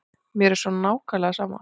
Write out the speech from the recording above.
Mér er svo nákvæmlega sama.